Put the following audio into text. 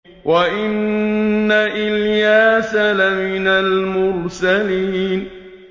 وَإِنَّ إِلْيَاسَ لَمِنَ الْمُرْسَلِينَ